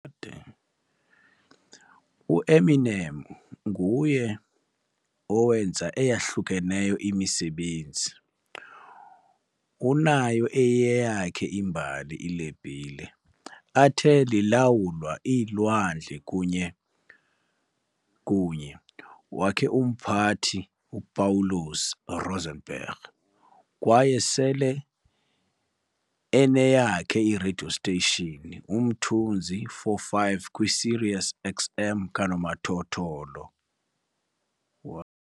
Eminem ngu owenza ezahlukeneyo imisebenzi- unabo eyiyeyakhe imbali ilebhile, athe lilawula iilwandle kunye wakhe Umphathi Upawulos Rosenberg, kwaye sele eyiyeyakhe radio station, Umthunzi 45 kwi Sirius XM Kanomathotholo.